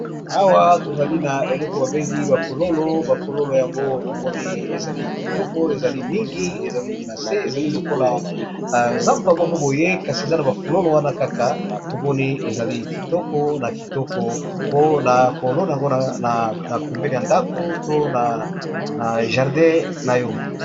Awa tozali na eloko babengi bafololo, bafololo yango tomoni ezali kitoko ezali mingi ezali na se ezali lokola zamba moko boye kasi eza na bafololo wana kaka tomoni ezali kitoko na kitoko po na kolona mpona na pembene ya ndako to na jardin na yo.